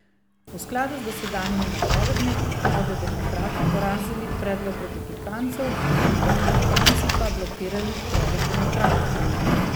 V skladu z dosedanjimi napovedmi bodo demokrati porazili predlog republikancev, republikanci pa blokirali predlog demokratov.